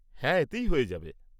হ্যাঁ, এতেই হয়ে যাবে।